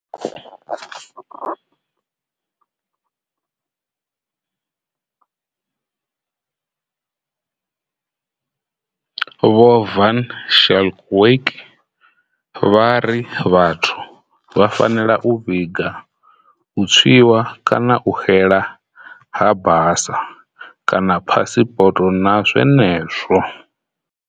Vho Van Schalkwyk vha ri vhathu vha fanela u vhiga u tswiwa kana u xela ha basa kana phasipoto na zwenezwo.